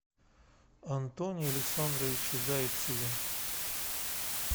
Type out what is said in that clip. антоне александровиче зайцеве